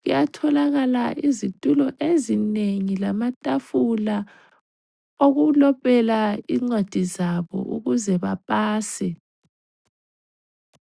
kuyatholakala izitulo ezinengi lamatafula okulobela incwadi zabo ukuze bapase.